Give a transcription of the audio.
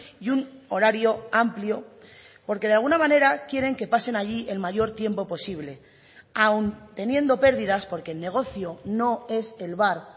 y un horario amplio porque de alguna manera quieren que pasen allí el mayor tiempo posible aun teniendo perdidas porque el negocio no es el bar